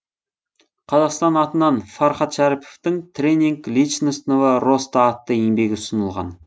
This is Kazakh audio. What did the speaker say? қазақстан атынан фархат шәріповтың тренинг личностного роста атты еңбегі ұсынылған